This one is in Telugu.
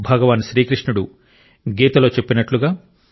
భగవాన్ శ్రీకృష్ణుడు గీతలో చెప్పినట్లుగా